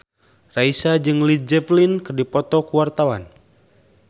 Raisa jeung Led Zeppelin keur dipoto ku wartawan